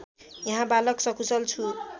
यहाँ बालक सकुशल छु